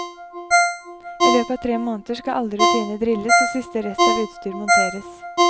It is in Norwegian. I løpet av tre måneder skal alle rutiner drilles og siste rest av utstyr monteres.